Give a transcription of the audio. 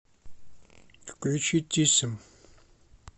включи тиссем